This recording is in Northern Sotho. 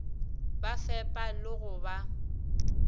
ba fepa le go ba